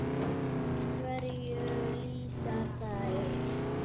Hverju lýsa þær?